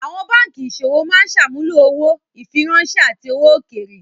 Àwọn báńkì ìṣòwò máa ń ṣàmúlò owó, ìfiráńṣẹ́, àti owó òkèèrè.